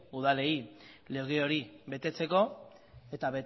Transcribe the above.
udalei lege hori betetzeko eta